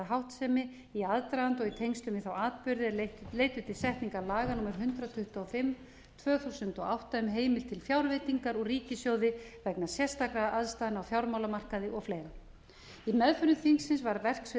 háttsemi í aðdraganda og í tengslum við þá atburði er leiddu til setningar laga númer hundrað tuttugu og fimm tvö þúsund og átta um heimild til fjárveitingar úr ríkissjóði vegna sérstakra aðstæðna á fjármálamarkaði og fleira í meðförum alþingis var verksvið